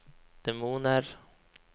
demoner